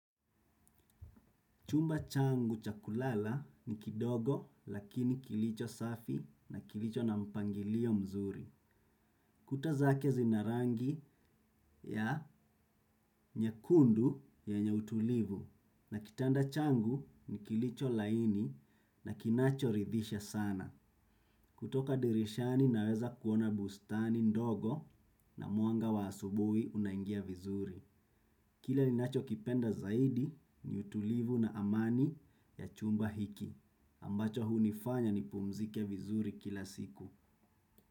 Chumba changu cha kulala ni kidogo lakini kilicho safi na kilicho na mpangilio mzuri. Kuta zake zina rangi ya nyekundu yenye utulivu na kitanda changu ni kilicho laini na kinachoridhisha sana. Kutoka dirishani naweza kuona bustani ndogo na mwanga wa asubuhi unaingia vizuri. Kile ninachokipenda zaidi ni utulivu na amani ya chumba hiki. Ambacho hunifanya nipumzike vizuri kila siku.